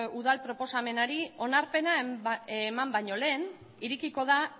udal proposamenari onarpena eman baino lehen irekiko da